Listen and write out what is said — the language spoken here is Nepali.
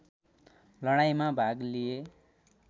लडाईँमा भाग लिए